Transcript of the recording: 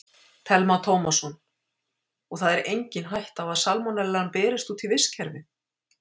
Telma Tómasson: Og það er engin hætta á að salmonellan berist út í vistkerfið?